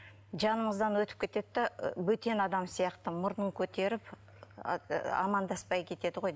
жанымыздан өтіп кетеді де бөтен адам сияқты мұрнын көтеріп амандаспай кетеді ғой